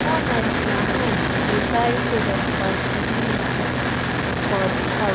Normally na man dey carry di responsibility for di house